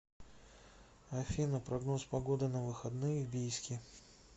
афина прогноз погоды на выходные в бийске